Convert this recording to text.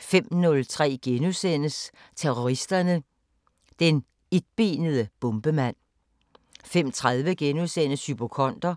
05:03: Terroristerne: Den etbenede bombemand * 05:30: Hypokonder